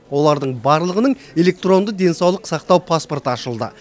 олардың барлығының электронды денсаулық сақтау паспорты ашылды